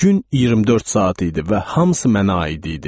Gün 24 saat idi və hamısı mənə aid idi.